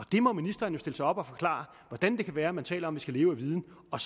må ministeren stille sig op og forklare hvordan det kan være at man taler om skal leve af viden og